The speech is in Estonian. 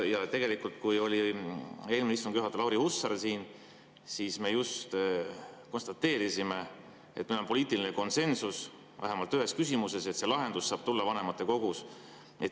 Kui oli eelmine istungi juhataja Lauri Hussar siin, siis me just konstateerisime, et meil on poliitiline konsensus vähemalt ühes küsimuses, et see lahendus saab tulla vanematekogus.